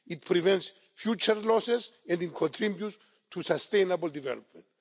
it prevents future losses and it contributes to sustainable development.